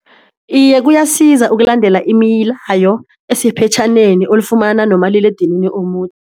Iye kuyasiza ukulandela imilayo esephetjhaneni olifumana nomaliledini